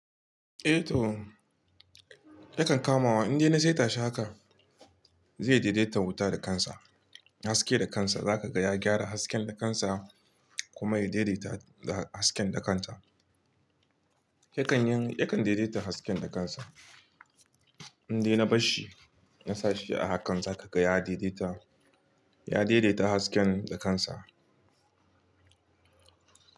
Eh to yakan kamawa. In dai na sai tashi haka zai daidaita wuta da kansa haske da kansa. Zaka ga ya gyara hasken da kansa kuma ya daidaita hasken da kanta. Yakan yin, yakan daidaita hasken da kansa. In dai na barshi na sashi a hakan zaka ga ya daidaita, ya daidaita hasken da kansa.